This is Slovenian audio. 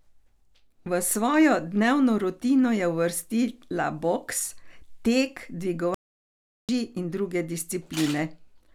V svojo dnevno rutino je uvrstila boks, tek, dvigovanje uteži in druge discipline.